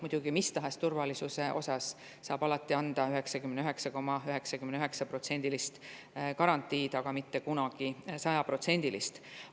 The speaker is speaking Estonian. Muidugi, mis tahes turvalisuse kohta saab alati anda ainult 99,99%‑lise, mitte kunagi 100%‑lise garantii.